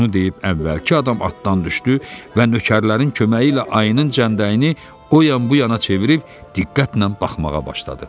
Bunu deyib əvvəlki adam atdan düşdü və nökərlərin köməyi ilə ayının cəmdəyini o yan-bu yana çevirib diqqətlə baxmağa başladı.